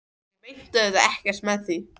Ég meinti auðvitað ekkert með því.